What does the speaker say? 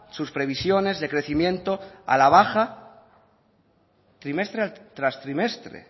sus previsiones de crecimiento a la baja trimestre tras trimestre